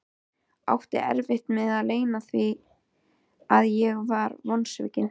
Átti erfitt með að leyna því að ég var vonsvikinn.